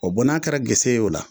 O bɔn n'a kɛra gese ye o la